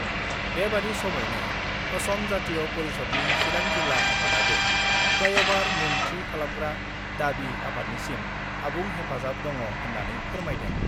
बेबादि समावनो असम जातीय परिषदनि चिरां जिल्ला आफादआबो फ्लाइअभार मुं थि खालामग्रा दाबि आफादनिसिम आबुं हेफाजाब दङ होन्नानै फोरमायदों।